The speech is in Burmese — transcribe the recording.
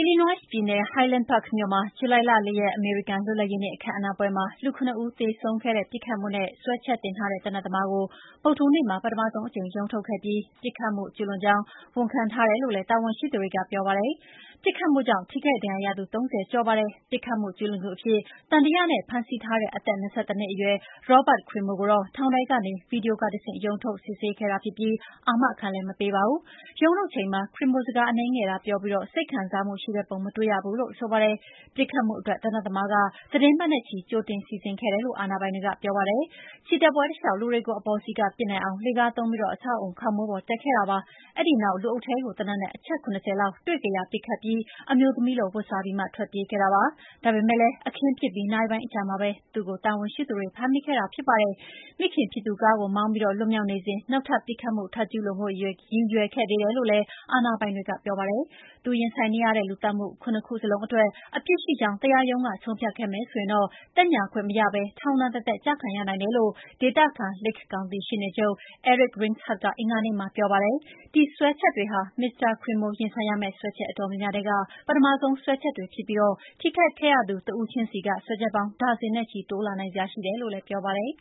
Illinois ပြည်နယ် Highland Park မြို့မှာ ဇူလိုင် ၄ ရက် အမေရိကန်လွတ်လပ်ရေးနေ့ အခမ်းအနားပွဲမှာ လူ ၇ ဦး သေဆုံးခဲ့တဲ့ ပစ်ခတ်မှုနဲ့ စွဲချက်တင်ထားတဲ့ သေနတ်သမားကို ဗုဒ္ဓဟူးနေ့မှာ ပထမဆုံးအကြိမ် ရုံးထုတ်ခဲ့ပြီး၊ ပစ်ခတ်မှုကျုးလွန်ကြောင်း ဝန်ခံထားတယ်လို့လည်း တာဝန်ရှိသူတွေကပြောပါတယ်။ ပစ်ခတ်မှုကြောင့် ထိခိုက်ဒဏ်ရာရသူ ၃၀ ကျော်ရှိပါတယ်။ ပစ်ခတ်မှု ကျုးလွန်သူအဖြစ် သံသယနဲ့ ဖမ်းဆီးထားတဲ့ အသက် ၂၁ နှစ်အရွယ် Robert Crimo III ကိုတော့ ထောင်ထဲကနေ ဗွီဒီယိုကတဆင့် ရုံးထုတ်စစ်ဆေးခဲ့တာဖြစ်ပြီး အာမခံလည်း မပေးပါဘူး။ ရုံးထုတ်ချိန်မှာ Crimo စကားအနည်းငယ်သာပြောပြီး စိတ်ခံစားမှုရှိတဲ့ပုံ မတွေ့ရဘူးလို့ ဆိုပါတယ်။ ပစ်ခတ်မှုအတွက် သေနတ်သမားက သီတင်းပတ်နဲ့ချီ ကြိုတင်စီစဉ်ခဲ့တယ်လို့ အာဏာပိုင်တွေကပြောပါတယ်။ ချီတက်ပွဲတလျှောက် လူတွေကို အပေါ်စီးက ပစ်နိုင်အောင် လှေကားသုံးပြီး အဆောက်အအုံခေါင်မိုးပေါ် တက်ခဲ့တာပါ။ ဒီနောက်လူအုပ်ထဲကို သေနတ်နဲ့ အချက် ၇၀ လောက်တွေ့ကရာ ပစ်ခတ်အပြီး အမျိုးသမီးလို ဝတ်စားပြီးမှ ထွက်ပြေးခဲ့တာပါ။ ဒါပေမယ့်လည်း အခင်းဖြစ်ပြီးနာရီပိုင်းအကြာမှာပဲ သူ့ကိုတာဝန်ရှိသူတွေ ဖမ်းမိခဲ့တာဖြစ်ပါတယ်။ မိခင်ဖြစ်သူကားကိုမောင်းပြီး လွတ်မြောက်နေစဉ် နောက်ထပ် ပစ်ခတ်မှုထပ်ကျုးလွန်ဖို့ ရည်ရွယ်ခဲ့သေးတယ်လို့လည်း အာဏာပိုင်တွေက ပြောပါတယ်။ သူရင်ဆိုင်နေရတဲ့ လူသတ်မှု ၇ ခုစလုံးအတွက် အပြစ်ရှိကြောင်း တရားရုံးက ဆုံးဖြတ်ခဲ့မယ် ဆိုရင်တော့ သက်ညှာခွင့်မရဘဲ ထောင်ဒဏ်တသက် ကျခံရနိုင်တယ်လို့ ဒေသခံ Lake ကောင်တီရှေ့နေချုပ် Eric Reinhart ကအင်္ဂါနေ့မှာ ပြောပါတယ်။ ဒီစွဲချက်တွေဟာ Mr Crimo ရင်ဆိုင်ရမယ့်စွဲချက်အတော်များများထဲက ပထမဆုံးစွဲချက်တွေဖြစ်ပြီး ထိခိုက်ခဲ့ရသူတဦးချင်းစီက စွဲချက်ပေါင်း ဒါဇင်နဲ့ချီတိုးလာနိုင်စရာရှိတယ်လို့လည်း ပြောပါတယ်